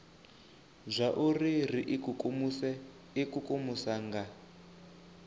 zwauri ri ikukumuse ikukumusa nga